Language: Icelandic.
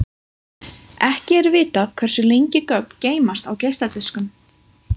Ekki er vitað hversu lengi gögn geymast á geisladiskum.